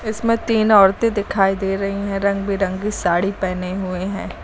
इसमें तीन औरते दिखाई दे रही हैं रंग बिरंग साड़ी पहने हुए हैं।